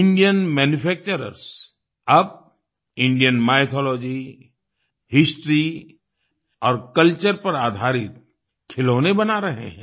Indian manufacturers अब Indian mythology history और culture पर आधारित खिलौने बना रहे हैं